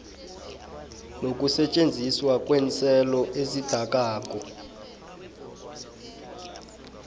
nokusetjenziswa kweenselo ezidakako